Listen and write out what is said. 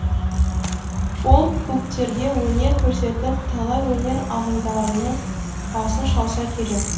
фолк клубтерге өнер көрсетіп талай өнер ағымдарының басын шалса керек